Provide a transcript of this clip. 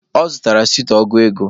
Ọ zutara sweet ọgụ ego